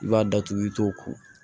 I b'a datugu i t'o ko